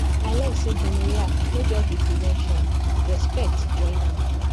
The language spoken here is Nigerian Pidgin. i learn say gonorrhea no just be prevention respect join am